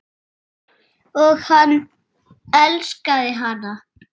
Og hann elskaði hana.